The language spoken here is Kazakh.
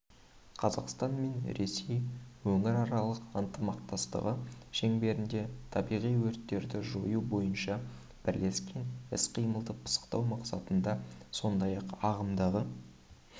қазақстан мен ресей өңіраралық ынтымақтастығы шеңберінде табиғи өрттерді жою бойынша бірлескен іс-қимылды пысықтау мақсатында сондай-ақ ағымдағы